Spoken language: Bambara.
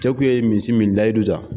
Cɛ kun ye misi min layidu ta